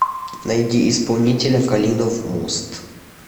найди исполнителя калинов мост